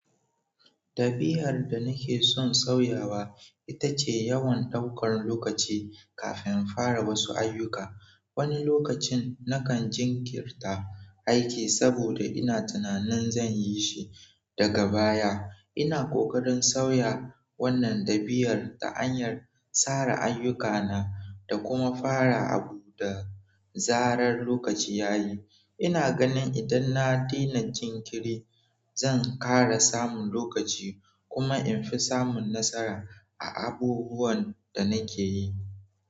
Ɗabi'ar da nakeson sauyawa ita ce yawan daukan lokaci kafin in fara wasu ayyuka. Wani lokacin nakan jinkirta aiki saboda ina tunanin zan yi shi daga baya. Ina kokarin sauya wannan ɗabi'ar ta hanyar tsara ayyukana da kuma fara abu da zarar lokaci yayi ina ganin idan na daina jinkiri, zan ƙara samun lokaci kuma in fi samun nasara a abubuwan da nake yi.